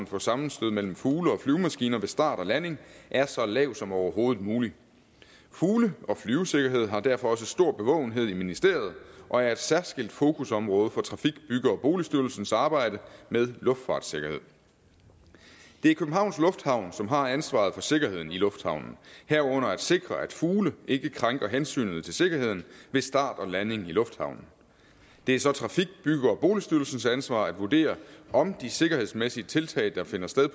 for sammenstød mellem fugle og flyvemaskiner ved start og landing er så lav som overhovedet muligt fugle og flyvesikkerhed har derfor også stor bevågenhed i ministeriet og er et særskilt fokusområde for trafik bygge og boligstyrelsens arbejde med luftfartssikkerhed det er københavns lufthavn som har ansvaret for sikkerheden i lufthavnen herunder at sikre at fugle ikke krænker hensynet til sikkerheden ved start og landing i lufthavnen det er så trafik bygge og boligstyrelsens ansvar at vurdere om de sikkerhedsmæssige tiltag der finder sted